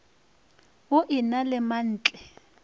o e na le mantle